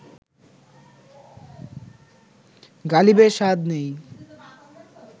গালিবের স্বাদ নেই